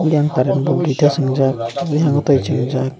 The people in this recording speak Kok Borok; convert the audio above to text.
eyang haren tongo duita songjak tango tei songjak.